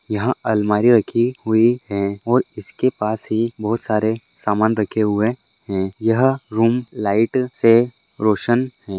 यहा अलमारी रखी हुई है और इसके पास ही बहुत सारे समान रखे हुए है यह रूम लाइट से रोशन है।